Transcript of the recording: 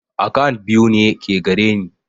Akant biyu ke gareni